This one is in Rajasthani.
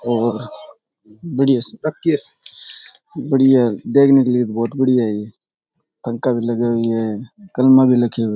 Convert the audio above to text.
और बढ़िया सी बढ़िया देखने के लिए बहुत बढ़िया है ये कंका भी लगे हुए हैं कलमा भी लगी हुए --